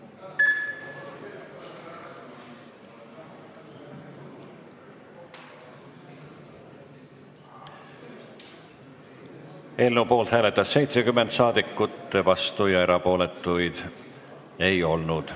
Hääletustulemused Eelnõu poolt hääletas 70 rahvasaadikut, vastuolijaid ega erapooletuid ei olnud.